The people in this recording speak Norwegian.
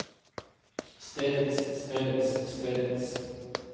stedets stedets stedets